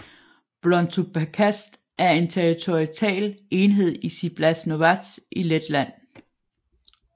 Blontu pagasts er en territorial enhed i Ciblas novads i Letland